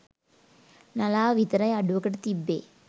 නලාව විතරයි අඩුවකට තිබ්බේ.